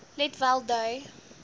let wel dui